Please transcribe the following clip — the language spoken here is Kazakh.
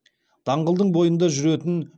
даңғылдың бойында жүретін